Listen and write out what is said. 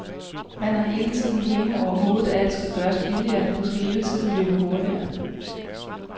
Man har hele tiden hængende over hovedet, at alt skal gøres billigere, du skal hele tiden løbe hurtigere.